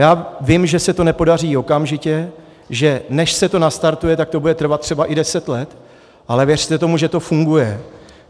Já vím, že se to nepodaří okamžitě, že než se to nastartuje, tak to bude trvat třeba i deset let, ale věřte tomu, že to funguje.